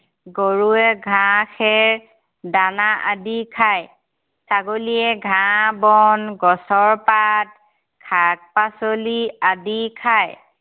গৰুৱে ঘাঁহ, খেৰ, দানা আদি খায়। ছাগলীয়ে ঘাঁহ বন গছৰ পাত, শাক পাচলি আদি খায়।